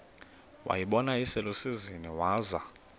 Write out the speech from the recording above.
wayibona iselusizini waza